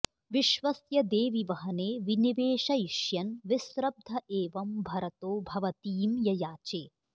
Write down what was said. विश्वस्य देवि वहने विनिवेशयिष्यन् विस्रब्ध एवं भरतो भवतीं ययाचे